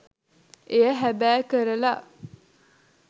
එය හැබෑ කරලා.